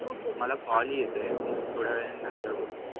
मला call येतोय मी थोड्यावेळाने नंतर बोलतो